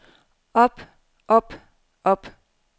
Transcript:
op op op